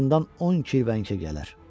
Azından 10 kilvə əncək gələr.